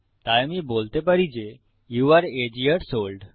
তাই আমি বলতে পারি যে যৌ আরে আগে য়ার্স ওল্ড